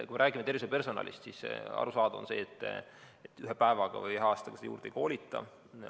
Kui me räägime tervishoiupersonalist, siis arusaadav on see, et ühe päeva või ühe aastaga neid juurde ei koolita.